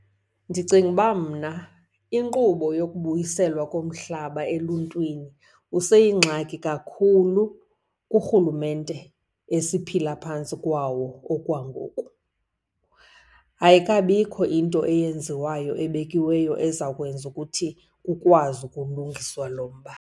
Ndicinga uba mna inkqubo yokubuyiselwa komhlaba eluntwini useyingxaki kakhulu kurhulumente esiphilayo aphantsi kwawo okwangoku. Ayikabikho into eyenziwayo ebekiweyo ezawukwenza ukuthi kukwazi ukulungiswa lo mba.